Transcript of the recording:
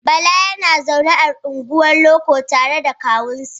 Bala yana zaune a unguwar loko tare da kawunsa.